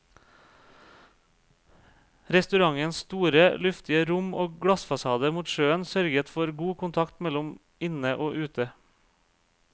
Restaurantens store, luftige rom og glassfasade mot sjøen sørget for god kontakt mellom inne og ute.